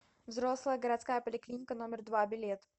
взрослая городская поликлиника номер два билет